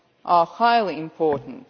are highly important.